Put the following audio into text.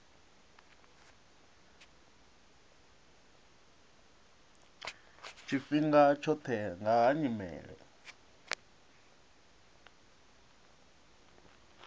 tshifhinga tshoṱhe nga ha nyimele